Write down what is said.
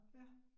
Ja